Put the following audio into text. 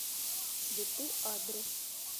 цветы адрес